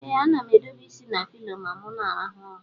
Ee anam edobe isi na pilo ma mu na alarụ ụla.